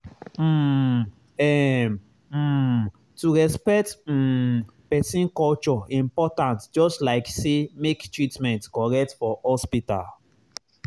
um ehm um to respect um person culture important just like say make treatment correct for hospital.